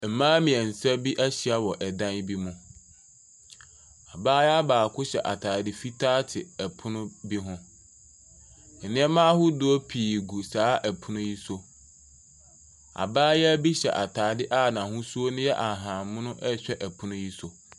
Mmaa mmeɛnsa bi ahyia wɔ dan bi mu. Abaayewa baako hyɛ atadeɛ fitaa te pono bi ho. Nneama ahodoɔ pii gu saa pono yi so. Abaayewa bi hyɛ atadeɛ a n'ahosuo no yɛ ahahammono rehwɛ pono yi so.